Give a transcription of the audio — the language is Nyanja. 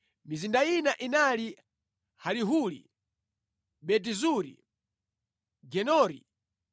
Mizinda ina inali: Halihuli, Beti Zuri, Gedori,